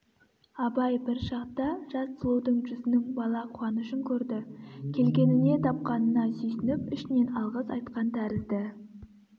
абай бір шақта жас сұлудың жүзінің бала қуанышын көрді келгеніне тапқанына сүйсініп ішінен алғыс айтқан тәрізді